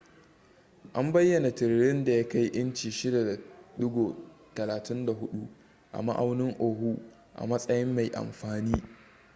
an bayyana tiririn da ya kai inci 6.34 a ma'aunin oahu a matsayin mai amfani